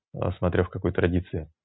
а смотря в какой традиции